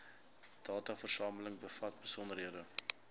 dataversameling bevat besonderhede